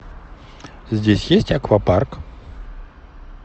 здесь есть аквапарк